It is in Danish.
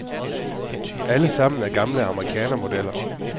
Alle sammen er gamle amerikanermodeller.